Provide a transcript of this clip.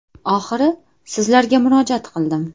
Oxiri sizlarga murojaat qildim.